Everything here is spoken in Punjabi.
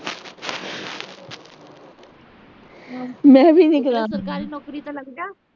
ਸਰਕਾਰੀ ਨੌਕਰੀ ਤੇ ਲੱਗਜਾਂ